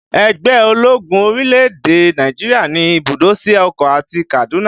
Ẹgbẹ́ ológun orílẹ̀-èdè Nàìjíríà ní ibùdó sí Èkó àti Kaduna